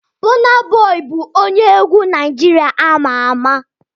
Burna Boy bụ onye egwu Naịjirịa